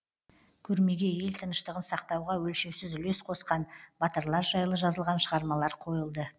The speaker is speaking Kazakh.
көрмеге ел тыныштығын сақтауға өлшеусіз үлес қосқан батырлар жайлы жазылған шығармалар қойылды